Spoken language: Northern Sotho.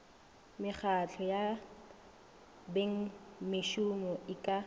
mekgahlo ya bengmešomo e ka